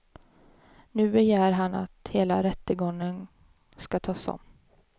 Nu begär han att hela rättegången ska tas om.